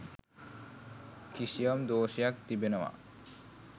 කිසියම් දෝෂයක් තිබෙනවා.